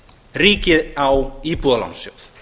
ríkið á íbúðalánasjóð